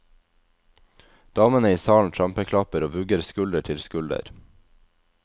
Damene i salen trampeklapper og vugger skulder til skulder.